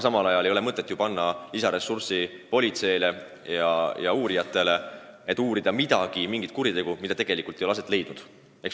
Ning ei ole mõtet ju eraldada politseile ja uurijatele lisaressursse, et nad saaksid uurida mingit kuritegu, mida tegelikult ei ole aset leidnud.